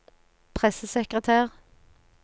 pressesekretær